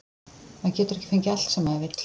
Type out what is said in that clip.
Maður getur ekki fengið allt sem maður vill.